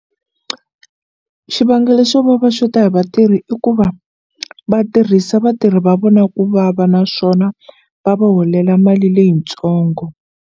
Xivangelo xo va va xota hi vatirhi i ku va vatirhisa vatirhi va vona ku vava naswona va va holela mali leyitsongo.